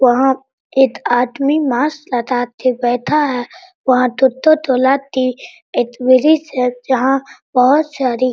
वहाँ एक आदमी मास्क लगा के बैठा है वहाँ दो-दो तरह की जहाँ बहुत सारी --